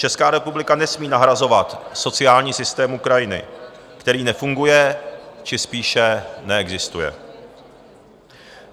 Česká republika nesmí nahrazovat sociální systém Ukrajiny, který nefunguje či spíše neexistuje.